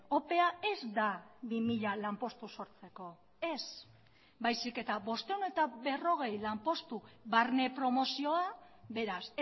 opea ez da bi mila lanpostu sortzeko ez baizik eta bostehun eta berrogei lanpostu barne promozioa beraz